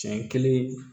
Siɲɛ kelen